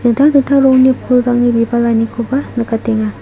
dingtang dingtang rongni pulrangni bibalanikoba nikatenga.